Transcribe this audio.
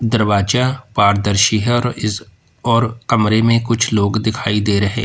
दरवाजा पारदर्शी है और इस और कमरे में कुछ लोग दिखाई दे रहे--